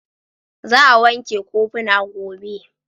Za a wanke kofuna gobe.